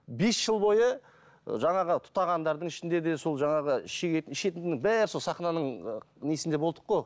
бес жыл бойы жаңағы тұтағандардың ішінде де сол жаңағы шегетін ішетіннің бәрі сол сахнаның несінде болдық қой